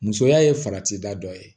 Musoya ye farati da dɔ ye